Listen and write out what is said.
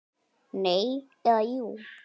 Nei. eða jú!